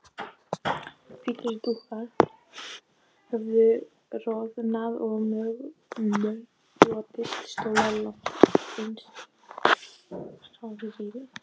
Hvítir dúkar höfðu roðnað og mölbrotnir stólar lágu einsog hráviði.